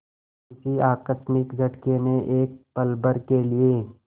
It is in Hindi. किसी आकस्मिक झटके ने एक पलभर के लिए